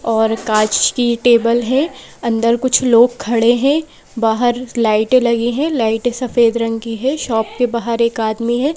और कांच की टेबल है अंदर कुछ लोग खड़े हैं बाहर लाइटे लगे हैं लाइटे सफेद रंग की है शॉप के बाहर एक आदमी है।